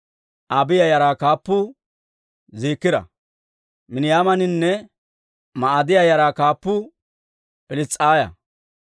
Abiiya yaraa kaappuu Ziikira. Miniyaaminanne Ma'aadiyaa yaraa kaappuu Pils's'aaya.